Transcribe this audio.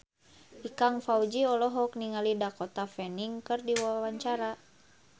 Ikang Fawzi olohok ningali Dakota Fanning keur diwawancara